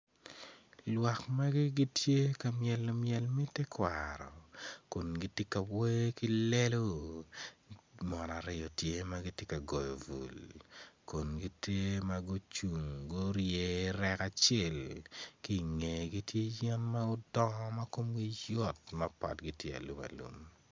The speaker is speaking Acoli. Lwak magi gitye ka myelo myel me tekwaro kun gitye ka wer ki lelo mon aryo gitye ma gitye ka goyo bul kun gitye ma gucung gurye rek acel ki i ngegi tye yen ma gudongo ma komgi obedo alumalum.